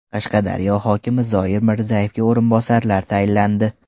Qashqadaryo hokimi Zoir Mirzayevga o‘rinbosarlar tayinlandi.